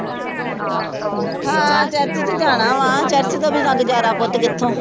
ਹਾਂ ਜਾਣਾ ਵਾਂ ਚਾਚੇ ਤੋਂ ਬਿਨਾਂ ਗੁਜ਼ਾਰਾ ਪੁੱਤ ਕਿੱਥੋਂ।